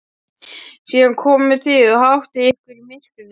Síðan komið þið og háttið ykkur í myrkrinu.